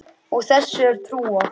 Og þessu er trúað.